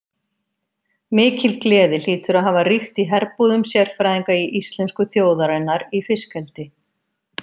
Mikil gleði hlýtur að hafa ríkt í herbúðum sérfræðinga íslensku þjóðarinnar í fiskeldi.